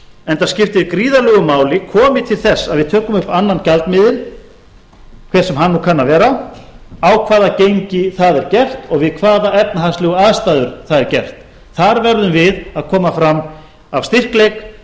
enda skiptir gríðarlegu máli komi til þess að við tökum upp annan gjaldmiðil hver sem hann kann nú að vera á hvaða gengi það er gert og við hvaða efnahagslegu aðstæður það er gert þar verðum við að koma fram af styrkleik